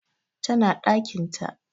Tana ɗakin ta